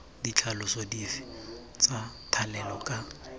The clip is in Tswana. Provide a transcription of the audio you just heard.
ditlhaloso dife tsa thalelo ka